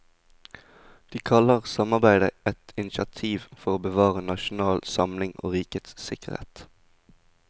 De kaller samarbeidet et initiativ for å bevare nasjonal samling og rikets sikkerhet.